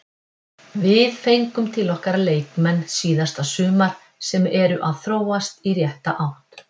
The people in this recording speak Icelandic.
Við fengum til okkar leikmenn síðasta sumar sem eru að þróast í rétta átt.